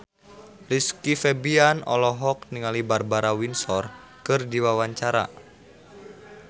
Rizky Febian olohok ningali Barbara Windsor keur diwawancara